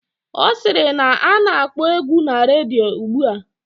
Ọ sịrị na a na-akpọ egwu na redio ugbua